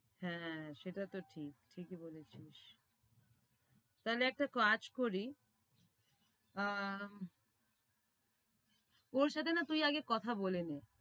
হ্যাঁ, সেটা তো ঠিক ঠিকই বলেছিস তাহলে একটা কাজ করি আহ ওর সাথে না তুই আগে কথা বলে নে।